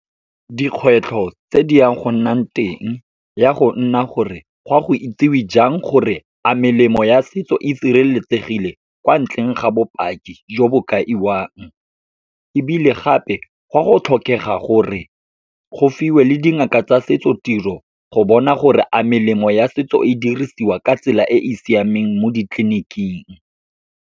Dikgwetlho tse di yang go nnang teng ya go nna gore, gwa go itsewe jang gore a melemo ya setso e sireletsegile kwa ntleng ga bopaki jo bo kaiwang. Ebile gape, gwa go tlhokega gore go fiwe le dingaka tsa setso tiro, go bona gore a melemo ya setso e dirisiwa ka tsela e e siameng mo ditleliniking.